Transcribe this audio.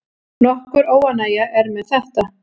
Nokkur óánægja er með þetta.